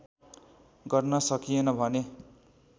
गर्न सकिएन भने